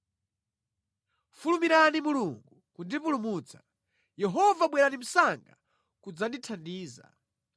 Fulumirani Mulungu kundipulumutsa; Yehova bwerani msanga kudzandithandiza.